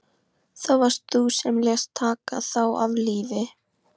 Það varst þú sem lést taka þá af lífi.